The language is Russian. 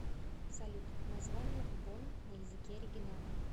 салют название бонн на языке оригинала